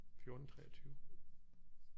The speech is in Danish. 14 23